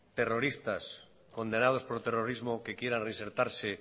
terroristas condenados por terrorismo que quieran reinsertarse